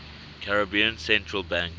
caribbean central bank